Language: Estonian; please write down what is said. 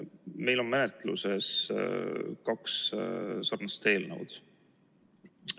Meil on menetluses kaks sarnast eelnõu.